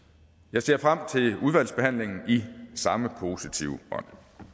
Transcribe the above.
jeg ser frem til udvalgsbehandlingen i samme positive ånd